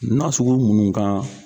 N'a sugu mun ka